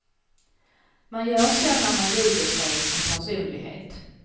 Man gör så när man ljuger sig en personlighet.